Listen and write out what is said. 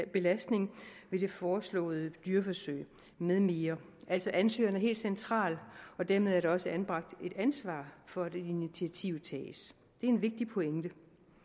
belastning ved det foreslåede dyreforsøg … med mere altså ansøgeren er helt central og dermed er der også anbragt et ansvar for at initiativet tages det er en vigtig pointe